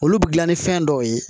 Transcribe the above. Olu bɛ dilan ni fɛn dɔw ye